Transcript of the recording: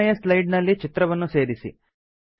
ಮೂರನೇಯ ಸ್ಲೈಡ್ ನಲ್ಲಿ ಚಿತ್ರವನ್ನು ಸೇರಿಸಿ